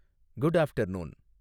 good after noon